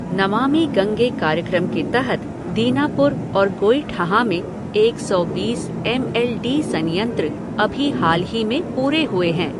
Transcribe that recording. नमामि गंगे कार्यक्रम के तहत दीनापुर और गोइठहां में एक सौ बीस एम एल डी संयंत्र अभी हाल ही में पूरे हुए हैं।